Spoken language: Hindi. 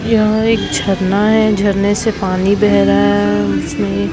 यह एक झरना है झड़ने से पानी बेह रहा है उसमें--